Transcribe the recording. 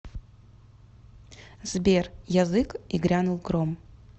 сбер язык и грянул гром